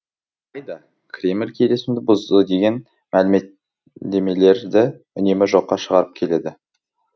алайда кремль келісімді бұзды деген мәлімдемелерді үнемі жоққа шығарып келеді